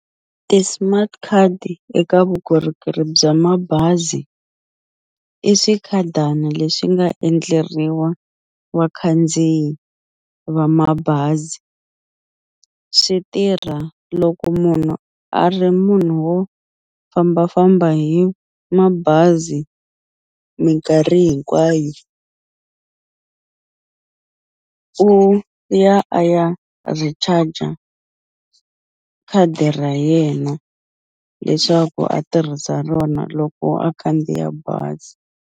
Ti-smart card eka vukorhokeri bya mabazi i swikhadani leswi nga endleriwa vakhandziyi va mabazi swi tirha loko munhu a ri munhu wo fambafamba hi mabazi minkarhi hinkwayo u ya a ya recharger khadi ra yena leswaku a tirhisa rona loko a khandziya bazi.